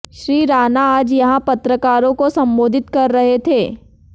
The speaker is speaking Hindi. श्री राणा आज यहां पत्रकारों को सम्बोधित कर रहे थे